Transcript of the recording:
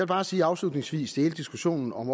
bare sige afslutningsvis til hele diskussionen om